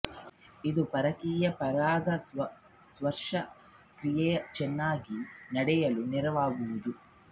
ಇದು ಪರಕೀಯ ಪರಾಗ ಸ್ಪರ್ಶ ಕ್ರಿಯೆಯು ಚೆನ್ನಾಗಿ ನಡೆಯಲು ನೆರವಾಗುವುದು